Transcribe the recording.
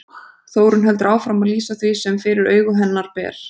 Þórunn heldur áfram að lýsa því sem fyrir augu hennar ber.